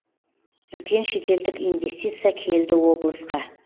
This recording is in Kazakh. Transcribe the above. үлкен шетелдік инвестиция келді облысқа